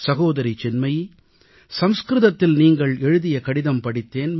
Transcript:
சகோதரி சின்மயி சமஸ்கிருதத்தில் நீங்கள் எழுதிய கடிதம் படித்தேன்